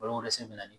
Balon wɛrɛ sen bɛ